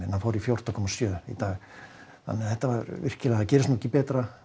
fór í fjórtán komma sjö í dag gerist ekki betra á